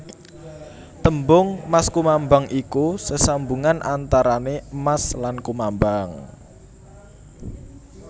Tembung maskumambang iku sesambungan antarané emas lan kumambang